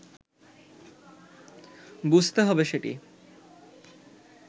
বুঝতে হবে সেটি